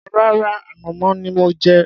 Rárá, ànàmọ́ ni mò ń jẹ.